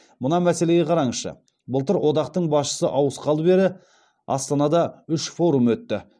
мына мәселеге қараңызшы былтыр одақтың басшысы ауысқалы бері астанада үш форум өтті